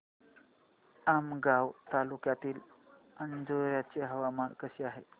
आमगाव तालुक्यातील अंजोर्याचे हवामान कसे आहे